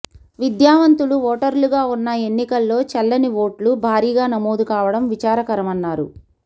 విద్యావంతులు ఓటర్లుగా ఉన్న ఎన్నికల్లో చెల్లని ఓట్లు భారీగా నమోదు కావడం విచారకరమన్నారు